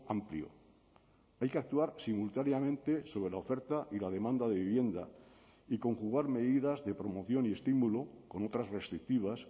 amplio hay que actuar simultáneamente sobre la oferta y la demanda de vivienda y conjugar medidas de promoción y estímulo con otras restrictivas